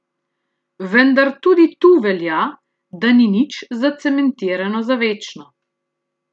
Vendar tudi tu velja, da ni nič zacementirano za večno.